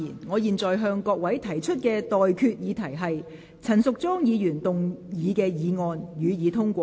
我現在向各位提出的待決議題是：陳淑莊議員動議的議案，予以通過。